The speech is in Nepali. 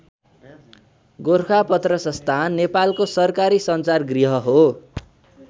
गोरखापत्र संस्थान नेपालको सरकारी सञ्चार गृह हो।